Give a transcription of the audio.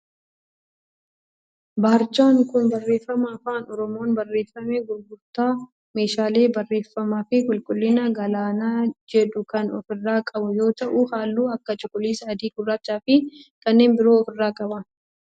Barjaan kun barreeffama afaan oromoon barreeffame gurgurtaa meeshaalee barreeffamaa fi qulqullinaa Galaanaa jedhu kan of irraa qabu yoo ta'u halluu akka cuquliisa, adii, gurraachaa fi kanneen biroo of irraa qaba.